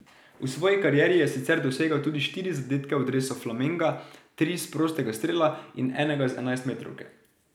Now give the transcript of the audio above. V svoji karieri je sicer dosegel tudi štiri zadetke v dresu Flamenga, tri s prostega strela in enega z enajstmetrovke.